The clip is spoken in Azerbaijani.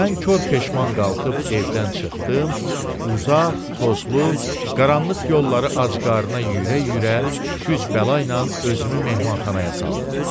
Mən kor peşman qalxıb evdən çıxdım, uzaq, tozlu, qaranlıq yolları acqarına yürə-yürə güc-bəlayla özümü mehmanxanaya saldım.